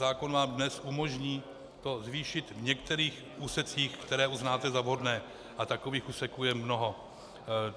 Zákon vám dnes umožní to zvýšit v některých úsecích, které uznáte za vhodné, a takových úseků je mnoho.